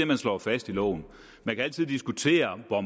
man slår fast i loven man kan altid diskutere hvor